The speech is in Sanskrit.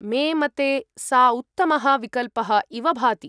मे मते सा उत्तमः विकल्पः इव भाति।